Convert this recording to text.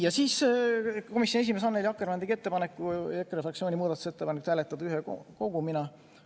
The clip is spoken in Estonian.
Lõpuks komisjoni esimees Annely Akkermann tegi ettepaneku EKRE fraktsiooni muudatusettepanekuid hääletada kogumina.